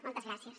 moltes gràcies